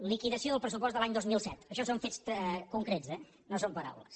liquidació del pressupost de l’any dos mil set això són fets concrets eh no són pa·raules